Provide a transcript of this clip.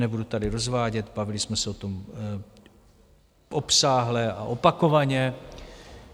Nebudu tady rozvádět, bavili jsme se o tom obsáhle a opakovaně.